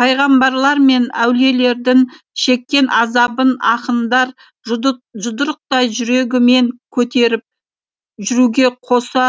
пайғамбарлар мен әулиелердің шеккен азабын ақындар жұдырықтай жүрегімен көтеріп жүруге қоса